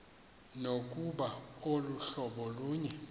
nokuba aluhlobo lunye